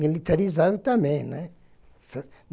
militarizado também, né?